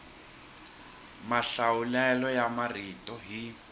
mahlawulelo ya marito hi